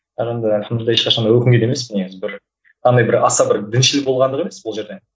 бірақ енді альхамдулилла ешқашан да өкінбейді емеспін негізі бір андай бір аса бір діншіл болғандық емес бұл жерде